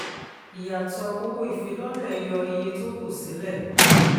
ìyàtọ̀ owó ìfilọ́lẹ̀ yọ iye tó kù sílẹ̀.